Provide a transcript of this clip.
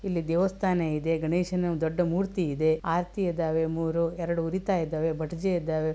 ಇಲ್ಲಿ ದೇವಸ್ಥಾನ ಇದೆ ಗಣೇಶನ ದೊಡ್ಡ ಮೂರ್ತಿಇದೆ. ಆರ್ತಿ ಇದ್ದಾವೆ ಮೂರೂ ಎರಡು ಉರಿತಾ ಇದ್ದವೇ ಬಟಿಜಿ ಇದ್ದವೇ.